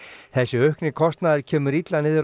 þessi aukni kostnaður kemur illa niður